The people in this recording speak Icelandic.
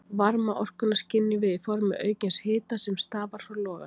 Varmaorkuna skynjum við í formi aukins hita sem stafar frá loganum.